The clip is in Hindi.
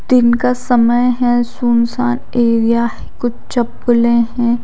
दिन का समय है सुनसान एरिया है कुछ चप्पले हैं।